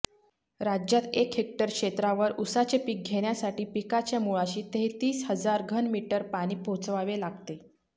राज्यात एक हेक्टर क्षेत्रावर ऊसाचे पीक घेण्यासाठी पिकाच्या मुळाशी तेहतीस हजार घनमीटर पाणी पोचवावे लागते